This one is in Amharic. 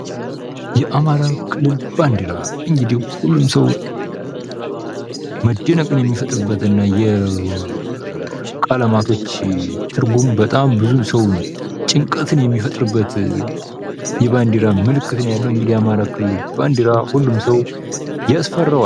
የአማራ ክልል ባንዲራ እንግዲህ ሁሉም ሰው መደነቅን የሚፈጥርበት እና የቀለማቶች ትርጉም በጣም ብዙ ሰው ጭንቀትን የሚፈጥርበት የባንዲራ ምልክት ነው ያለው እንግዲህ የአማራ ክልል ባንዲራ ሁሉም ሰው ያስፈረዋል።